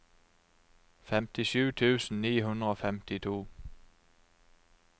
femtisju tusen ni hundre og femtito